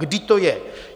Kdy to je?